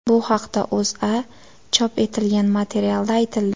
Bu haqda O‘zAda chop etilgan materialda aytildi .